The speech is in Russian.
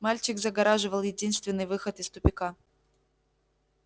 мальчик загораживал единственный выход из тупика